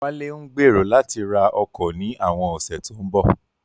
Wálé ń gbèrò láti ra ọkọ̀ ní àwọn ọ̀sẹ̀ tó ń bọ̀